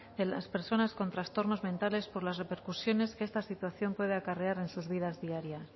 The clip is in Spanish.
de las personas con trastornos mentales por las repercusiones que esta situación puede acarrear en sus vidas diarias